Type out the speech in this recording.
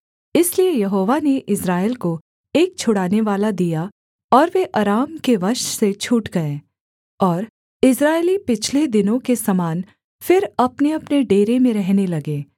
इसलिए यहोवा ने इस्राएल को एक छुड़ानेवाला दिया और वे अराम के वश से छूट गए और इस्राएली पिछले दिनों के समान फिर अपनेअपने डेरे में रहने लगे